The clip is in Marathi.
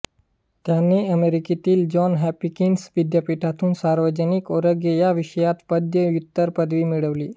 त्यांनी अमेरिकेतील जॉन हॉपकिन्स विद्यापीठातून सार्वजनिक आरोग्य या विषयात पदव्युत्तर पदवी मिळवली